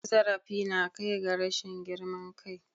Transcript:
Cin zarafi na kai ga rashin girman kai.